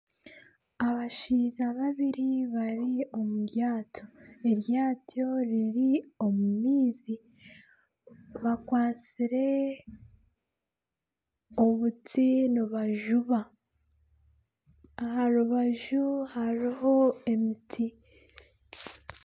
Abashaija babiri bari omu ryato, eryato riri omu maizi bakwatsire obuti nibajuba, aha rubaju hariho emiti